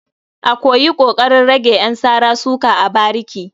A yi ƙoƙarin rage ƴan sara-suka a bariki.